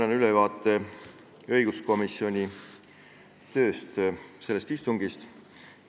Annan ülevaate õiguskomisjoni istungist.